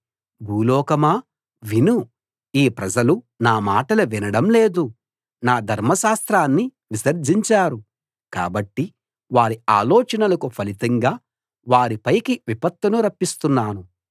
భూలోకమా విను ఈ ప్రజలు నా మాటలు వినడం లేదు నా ధర్మశాస్త్రాన్ని విసర్జించారు కాబట్టి వారి ఆలోచనలకు ఫలితంగా వారి పైకి విపత్తును రప్పిస్తున్నాను